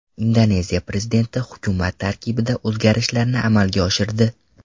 Indoneziya prezidenti hukumat tarkibida o‘zgarishlarni amalga oshirdi .